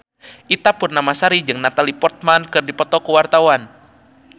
Ita Purnamasari jeung Natalie Portman keur dipoto ku wartawan